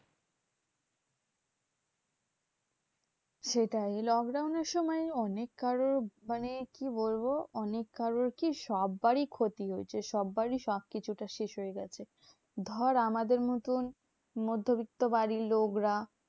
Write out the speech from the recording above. সেটাই lockdown এর সময় অনেক কারোর মানে কি বলবো? অনেক কারোর কি? সব্বারি ক্ষতি হয়েছে সব্বারি সবকিছুতে শেষ হয়ে গেছে। ধর আমাদের মতন মধ্যবিত্ত বাড়ির লোকরা